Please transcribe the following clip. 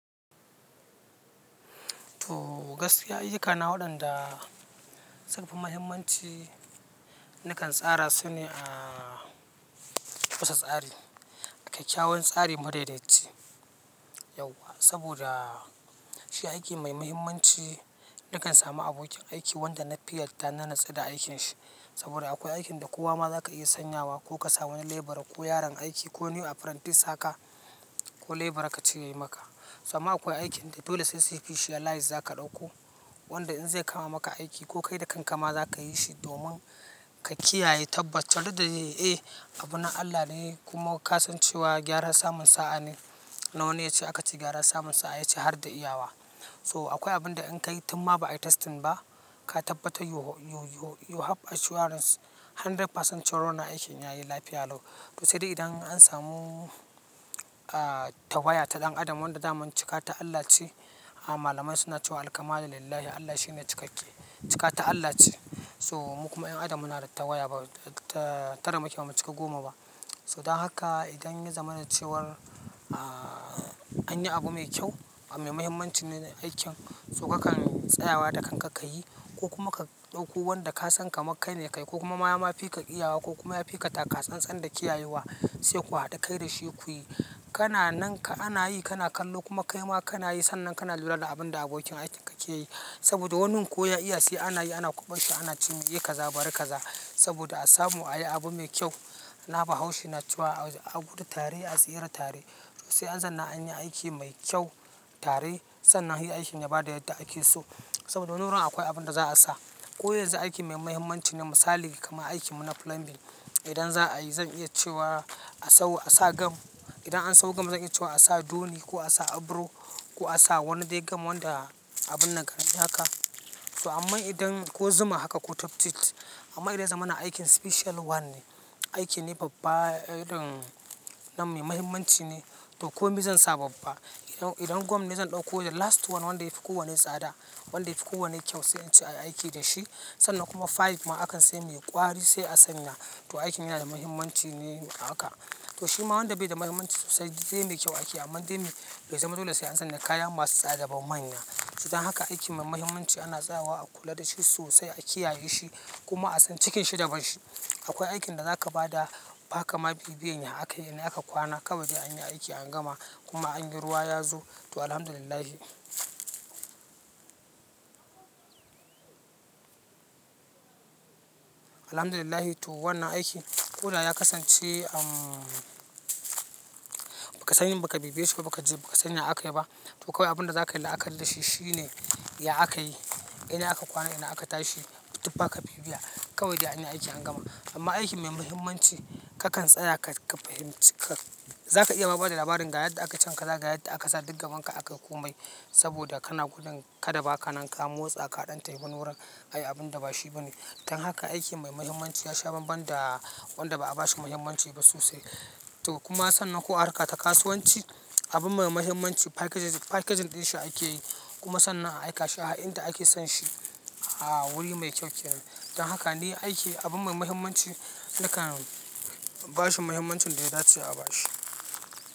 To gaskiya ayukana wadan da sun fi muhimmanci nakan tsara sune a kusa tsari, a kai kyawun tsarin madaidaci. Yauwa saboda shi aiki mai mahimmanci nakan samu abokin aiki wanda nafi yarda na natsu da aikinshi. Saboda akwai aikin da kowa ma za ka iya sanyawa ko ka samu wani lebara ko yaron aiki ko new apprentice haka ko lebara ka ce yayi maka. To amma akwai aikin da dole sai suyi bi shi a layi za ka ɗauko wanda in zai kama maka aiki ko kai da kanka ma za ka yi shi domin ka kiyaye tabbacin da dai eh abu na Allah ne kuma ka san cewa gyara samun sa'a ne. Na wane yace aka ci gyara samun sa'a yace har da iyawa. So akwai abin da in ka yi tun ma ba ai testing ba, ka tabbata you have assurance hundred percent cewa wannan aikin yayi lafiya lau. To sai dai idan an samu a tawaya ta ɗan adam wanda dama cika ta Allah ce, a malamai suna cewa al hamdu lillahi Allah shine cikakke, cika ta Allah ce. So mu kuma 'yan adam muna da tawaya ba tara muke ba mu cika goma ba. So dan haka idan ya zamana cewar, a anyi abu mai kyau a mai mahimmanci ne aikin so kakan tsayawa da kanka ka yi ko kuma ka ɗauko wanda ka san kamar kai ne kayi ko kuma ma, ma fika iyawa ko kuma ya fika takatsansan da kiyayewa sai ku haɗa kai da shi kuyi. Kana nan ka ana yi kana kallo kuma kai ma kana yi sannan kana lura da abin da abokin aikin ka ke yi. Saboda wannan koya iya sai anayi ana ƙuba sa ana cinye kaza bari kaza. Saboda a samu a yi abu mai kyau. Na bahaushe cewa, a gudu tare a tsira tare. To sai an zuna anyi aiki mai kyau, tare sannan yi aikin ya bada yadda ake so. Saboda wannan ran akwai abin da za a sa. Ko yanzu aiki mai mahimmanci ne misali, kamar aikin mu na plumbing. Idan za a yi zan iya cewa a sau a sa gam. Idan an sau gam zan iya cewa a sa duni ko a sa abro ko a sa wani dai gam wanda abun nan kan yi haka. So amma idan ko zuma haka ko tuftit. Amma idan ya zama na aikin special one ne, aiki ne babba irin nan mai mahimmanci ne to komi zan sa babba. Idan, idan gum ne zan ɗauko the last one wanda yafi kowane tsada, wanda yafi kowane kyau sai in ci a yi aiki da shi sannan kuma fayil ma akan sai mai kwari sai a sanya. To aikin yana da mahimmanci ne haka. To shi ma wanda bai da mahimmanci sosai dai mai kyau aiki, amma dai bai zama dole sai an san da kaya masu tsada ba manya. To dan haka aiki mai mahimmanci ana tsayawa a kula da shi sosai a kiyaye shi kuma a san cikin shi daban shi. Akwai aikin da za ka ba da haka ma bibiye in haka yana aka kwana kawai dai an yi aiki an gama kuma anyi ruwa ya zo to alhamdulillahi. Alhamdulillahi to wannan aiki. Ko da ya kasance umm, ba ka sani ba ka bibiye shi ba ka ji ba ka sani inda aka yi ba. To kawai abin da za ka yi kalla a kalla shi shine ya aka yi, ina aka kwana, ina aka tashi, tufaa ka bibiya kawai dai an yi aiki an gama. Amma aiki mai mahimmanci ka kan tsaya ka fahimci ka. Za ka iya ma bada labarin ga yadda aka can kaza, ga yadda aka sa duka wanka aka komai saboda kana gudun kada ba ka nan ka motsa ka ɗan tafi wani wurin ayi abun da ba shi ba ne. Dan haka aiki mai mahimmanci ya sha banban da wanda ba a bashi mahimmanci ba sosai. To kuma sannan ko harka ta kasuwanci, abun mai mahimmanci packaging ɗin shi ake yi, kuma sannan a aika shi a inda ake son shi a wuri mai kyau kenan. Dan haka ne aiki abun mai mahimmanci nakan ba shi mahimmancin da ya dace a ba shi.